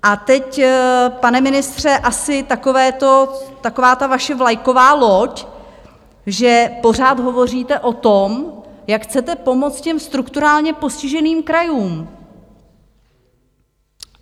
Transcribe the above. A teď, pane ministře, asi taková ta vaše vlajková loď, že pořád hovoříte o tom, jak chcete pomoct těm strukturálně postiženým krajům.